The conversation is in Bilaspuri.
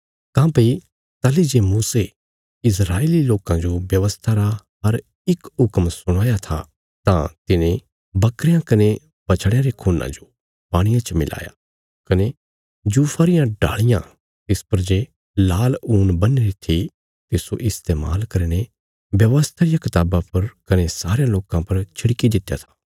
काँह्भई ताहली जे मूसे इस्राएली लोकां जो व्यवस्था रा हर इक हुक्म सुणाया था तां तिने बकरयां कने बछड़यां रे खून्ना जो पाणिये च मिलाया कने जूफा रियां डाल़ियां तिस पर जे लाल ऊन बन्हीरी थी तिस्सो इस्तेमाल करीने व्यवस्था रिया कताबा पर कने सारयां लोकां पर छिड़की दित्या था